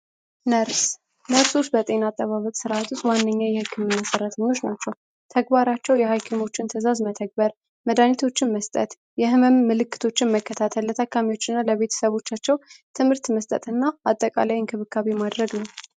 ነርስ ነርሶች በጤና አጠባበቁ ውስጥ ዋነኛው የህክምና ሰጪዎች ናቸው። ሀኪሞችን ትእዛዝ መተግበር መዳኒቶችን መስጠትና የህመም ምልክቶችን መከታተል አጠቃላይ ለታካሚዎችና ለቤተሰቦቻቸው ትምህርተ መስጠትና አጠቃላይ እንክብካቤ ማድረግ ነው።